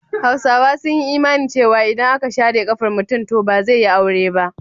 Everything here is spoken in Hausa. Hausawa sun yi imani cewa idan aka share ƙafar mutum to ba zai yi aure ba.